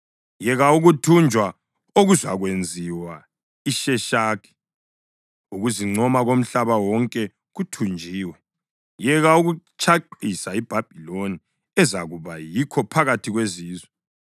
Yeka ukuthunjwa okuzakwenziwa iSheshaki, ukuzincoma komhlaba wonke kuthunjiwe! Yeka ukutshaqisa iBhabhiloni ezakuba yikho phakathi kwezizwe!